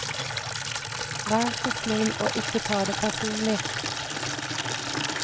Vær så snill å ikke ta det personlig.